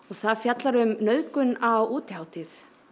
það fjallar um nauðgun á útihátíð